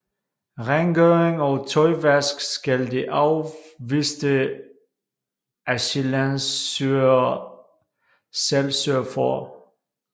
Rengøring og tøjvask skal de afviste asylansøgere selv sørge for